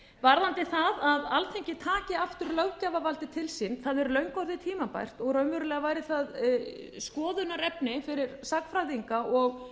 varðandi það að alþingi taki aftur löggjafarvaldið til sín það er löngu orðið tímabært og raunverulega væri það skoðunarefni fyrir sagnfræðinga og